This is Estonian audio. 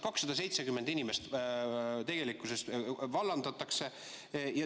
270 inimest vallandatakse.